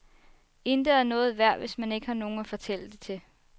Intet er noget værd, hvis man ikke har nogen at fortælle det til.